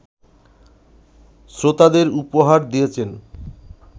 শ্রোতাদের উপহার দিয়েছেন